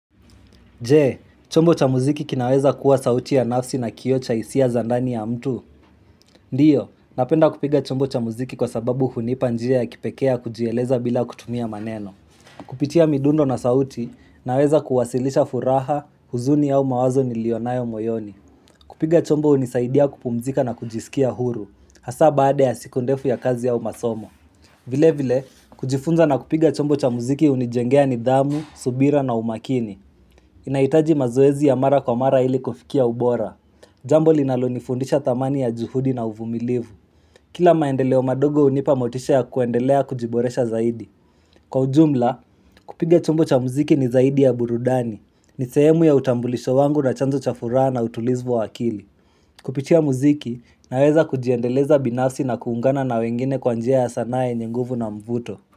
J, chombo cha muziki kinaweza kuwa sauti ya nafsi na kioo cha hisia za ndani ya mtu. Ndiyo, napenda kupiga chombo cha muziki kwa sababu hunipa njia ya kipeke ya kujieleza bila kutumia maneno. Kupitia midundo na sauti, naweza kuwasilisha furaha, huzuni ya umawazo nilionayo moyoni. Kupiga chombo unisaidia kupumzika na kujisikia huru. Hasa baada ya siku ndefu ya kazi au masomo. Vile vile, kujifunza na kupiga chombo cha muziki hunijengea nidhamu, subira na umakini. Inaitaji mazoezi ya mara kwa mara ili kufikia ubora Jambo linalo nifundisha thamani ya juhudi na uvumilivu Kila maendeleo madogo hunipa motisha ya kuendelea kujiboresha zaidi Kwa ujumla, kupiga chombo cha muziki ni zaidi ya burudani ni sehemu ya utambulisho wangu na chanzo cha furaha na utulizi wa akili Kupitia muziki, naweza kujiendeleza binafsi na kuungana na wengine kwa njia ya sanaa yenye nguvu na mvuto.